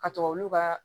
Ka to olu ka